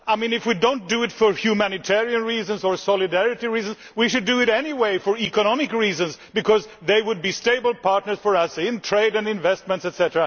If we do not do it for humanitarian reasons or solidarity reasons, we should do it anyway for economic reasons, because they would be stable partners for us in trade and investments, etc.